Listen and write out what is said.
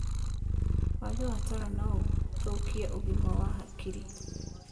Wagi wa toro noũthũkie ũgima wa hakiri